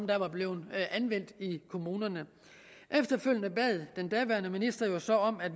der var blevet anvendt i kommunerne efterfølgende bad den daværende minister minister om at